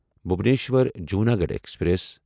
Bhubaneswar Junagarh express